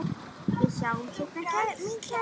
Við sjáumst seinna mín kæra.